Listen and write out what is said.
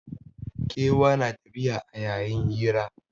Kewa na tafiya a yayin hira